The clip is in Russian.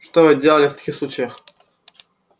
что вы делали в таких случаях